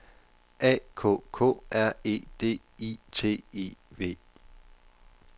A K K R E D I T I V